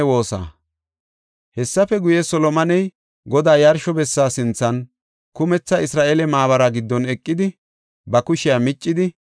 Hessafe guye, Solomoney Godaa yarsho bessa sinthan, kumetha Isra7eele maabara giddon eqidi, ba kushiya miccidi,